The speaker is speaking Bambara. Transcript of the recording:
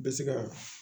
Bɛ se ka